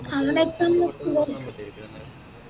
അവിടെപ്പം